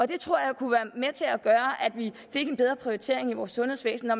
det tror jeg kunne være med til at gøre at vi fik en bedre prioritering i vores sundhedsvæsen når